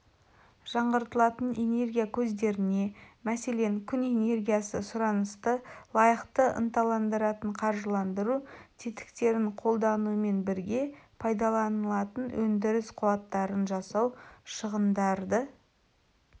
жаңғыртылатын энергия көздеріне мәселен күн энергиясы сұранысты лайықты ынталандыратын қаржыландыру тетіктерін қолданумен бірге пайдаланатын өндіріс қуаттарын жасау шығындарды